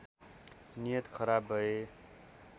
नियत खराब भए